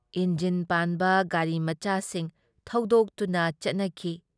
Engine ꯄꯥꯟꯕ ꯒꯥꯔꯤ ꯃꯆꯥꯁꯤꯡ ꯊꯧꯗꯣꯛꯇꯨꯅ ꯆꯠꯅꯈꯤ ꯫